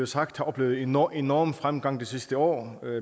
sagt oplevet enorm enorm fremgang det sidste år